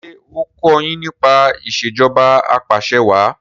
ṣe o kò yín nípa Ìṣèjọba Apàṣẹwàá